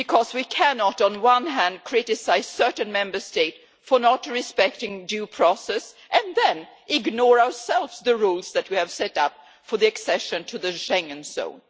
We cannot, on the one hand, criticise certain Member States for not respecting due process and then ignore ourselves the rules that we have set up for accession to the Schengen zone!